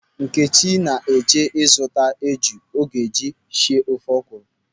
Nkechi na-eje ịzụta eju ọ ga-eji sie ofe ọkwụrụ.